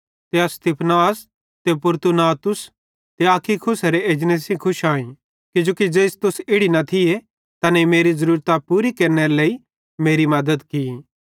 ते अस स्तिफनास ते फूरतूनातुस ते अखइकुसेरे एजने सेइं खुश आई किजोकि ज़ेइस तुस इड़ी न थिये तैनेईं मेरी ज़रूरतां पूरी केरनेरे लेइ मेरी मद्दत की